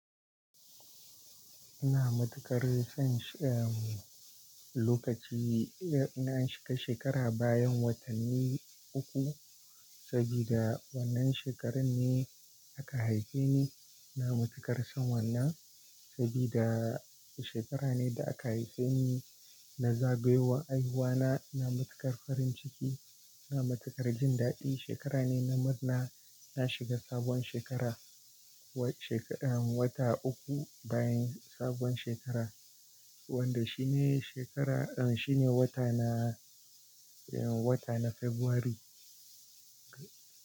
Ina matuƙar son shi-- lokaci na shiga shekara bayan watanni uku, saboda wannan shekarar ne aka haife ni. Ina matuƙar son wannan saboda shekara ne da aka haife ni, na zagayowa haihuwa na. Na matuƙar farin ciki, na matuƙar jin daɗi. Shekara ne na murna na shiga sabuwar shekara wata uku bayan sabuwar shekara, wanda shi ne shekara, shi ne wata na, wata na February.